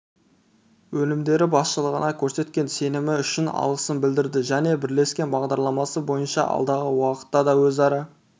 өнімдері басшылығына көрсеткен сенімі үшін алғысын білдірді және бірлескен бағдарламасы бойынша алдағы уақытта да өзара